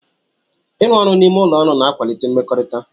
Ịrụ ọrụ n'ime ụlọ ọrụ na-akwalite mmekọrịta.